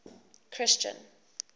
christian